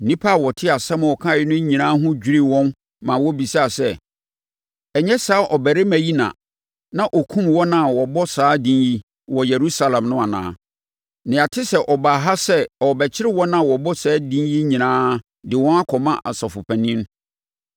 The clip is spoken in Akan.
Nnipa a wɔtee asɛm a ɔkaeɛ no nyinaa ho dwirii wɔn maa wɔbisaa sɛ, “Ɛnyɛ saa ɔbarima yi na na ɔkum wɔn a wɔbɔ saa din yi wɔ Yerusalem no anaa? Na yɛate sɛ ɔbaa ha sɛ ɔrebɛkyere wɔn a wɔbɔ saa din yi nyinaa de wɔn akɔma asɔfoɔ mpanin.”